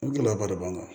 Ni gɛlɛyaba de b'an kan